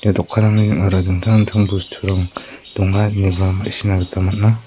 dokanrangni ning·ora dingtang dingtang bosturang donga ineba ma·sina gita man·a.